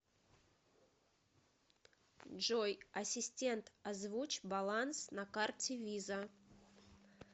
джой ассистент озвучь баланс на карте виза